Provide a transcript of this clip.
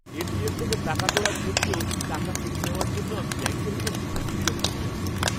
ATM থেকে টাকা তোলার ক্ষেত্রেও টাকা কেটে নেওয়ার জন্য আমি ব্যাঙ্কের ওপর খুব বিরক্ত হয়ে আছি।